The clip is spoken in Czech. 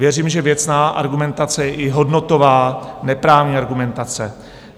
Věřím, že věcná argumentace je i hodnotová, neprávní argumentace.